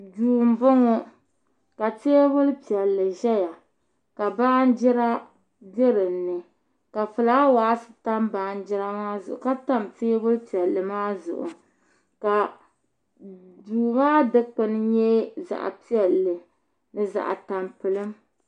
Duu n bɔŋɔ ka teebuli piɛlli ʒɛya ka baanjira bɛ dinni ka fulaawaasi tam baanjira maa zuɣu ka tam teebuli piɛlli maa zuɣu ka duu maa dikpuni nyɛ zaɣ piɛlli ni zaɣ tampilim